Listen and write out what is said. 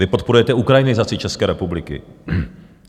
Vy podporujete ukrajinizaci České republiky.